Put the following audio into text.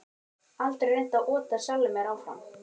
Aldrei reynt að ota sjálfum mér áfram